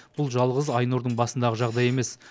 бұл жалғыз айнұрдың басындағы жағдай емес